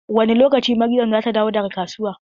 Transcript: Wani lokaci Maryam zata dawo daga kasuwa?